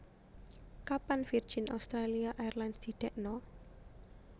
Kapan Virgin Australia Airlines didekno